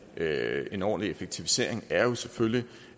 lave en ordentlig effektivisering er jo selvfølgelig